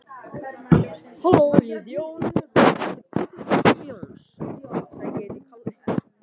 Svenni kinkar kolli, hann veit það.